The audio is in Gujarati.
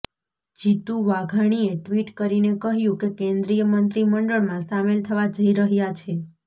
જીતુ વાઘાણીએ ટ્વીટ કરીને કહ્યું કે કેન્દ્રીય મંત્રી મંડળમાં સામેલ થવા જઈ રહ્યા છે